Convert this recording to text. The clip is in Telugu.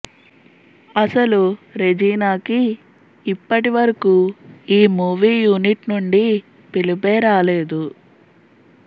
అసలు రెజీనాకి ఇప్పటి వరకూ ఈ మూవీ యూనిట్ నుండి పిలుపే రాలేదు